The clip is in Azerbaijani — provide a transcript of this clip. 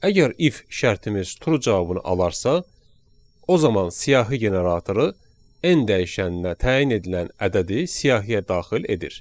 Əgər if şərtimiz true cavabını alarsa o zaman siyahı generatoru n dəyişənnə təyin edilən ədədi siyahıya daxil edir.